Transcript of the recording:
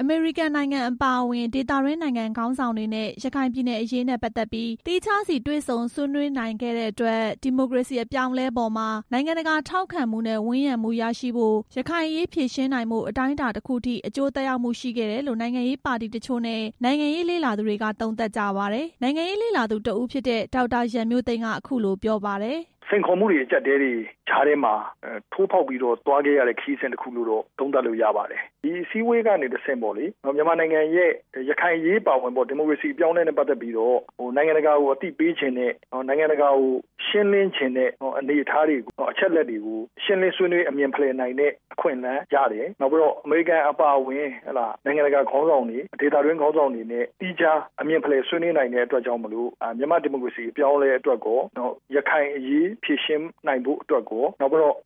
အမေရိကန်နိုင်ငံအပါအဝင် ဒေသတွင်းနိုင်ငံခေါင်းဆောင်တွေနဲ့ ရခိုင်ပြည်နယ်အရေးနဲ့ ပတ်သက်ပြီး သီးခြား စီတွေ့ဆုံ ဆွေးနွေးနိုင်ခဲ့တဲ့အတွက် ဒီမိုကရေစီအပြောင်းအလဲပေါ်မှာ နိုင်ငံတကာထောက်ခံမှုနဲ့ ဝန်းရံမှုရရှိဖို့၊ ရခိုင်အရေးဖြေရှင်းနိုင်ဖို့ အတိုင်းအတာတစ်ခုထိ အကျိုးသက်ရောက်မှု ရှိခဲ့တယ်လို့ နိုင်ငံရေးပါတီတချို့နဲ့ နိုင်ငံရေး လေ့လာသူတွေက သုံးသပ်ကြပါတယ်။ နိုင်ငံရေးလေ့လာသူတစ်ဦးဖြစ်တဲ့ ဒေါက်တာရန်မျိုးသိမ်းက အခုလိုပြောပါတယ်။ "စိန်ခေါ်မှုတွေ အကျပ်အတည်းတွေကြားထဲမှာ ထိုးဖောက်ပြီးသွားခဲ့ရတဲ့ ခရီးစဉ်တစ်ခုလို့တော့ သုံးသပ်လို့ ရတယ်၊ ဒီအစည်းအဝေးကနေတဆင့် မြန်မာနိုင်ငံရဲ့ ရခိုင်အရေး အပါအဝင် ဒီမိုကရေစီ အပြောင်းအလဲနဲ့ ပတ်သက်ပြီး နိုင်ငံတကာကို အသိပေးချင်တဲ့ နိုင်ငံတကာကို ရှင်းလင်းချင်တဲ့် အနေအထားတွေ အချက် အလက်တွေကို ရှင်းလင်းဆွေးနွေးဖလှယ်နိုင်တဲ့ အခွင့်အလမ်းရတယ်။ နောက်ပြီး အမေရိကန်နိုင်ငံအပါအဝင် နိုင်ငံတကာခေါင်းဆောင်တွေ ဒေသတွင်းခေါင်းဆောင်တွေနဲ့ သီးခြားအမြင် ဖလှယ်ဆွေးနွေးနိုင်တဲ့ အတွက်ကြောင့်မို့ မြန်မာဒီမိုကရေစီ အပြောင်းအလဲအတွက်ရော ရခိုင်အရေး ဖြေရှင်းနိုင်ဖို့အတွက်ရော